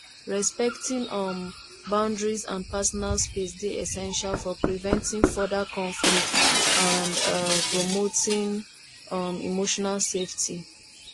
respecting um boundaries and personal space dey essential for preventing further conflict and um promoting um emotional safety